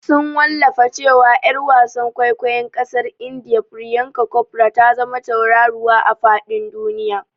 Sun Wallafa cewa Yar wasan kwaikwayon kasar India Priyanka Chopra ta zama tauraruwa a fadin duniya.